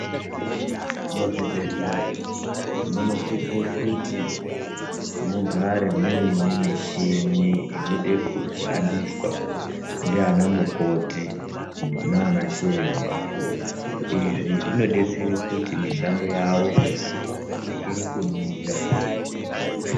Muzvibhehlera munosise kuti mugare muine michini inode inoshandiswa ndiana mukoti naana chiremba. Izvi zvinodetsere kuti mishando yawo irekere kumira.